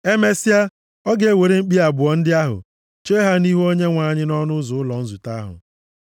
Emesịa, ọ ga-ewere mkpi abụọ ndị ahụ chee ha nʼihu Onyenwe anyị nʼọnụ ụzọ ụlọ nzute ahụ.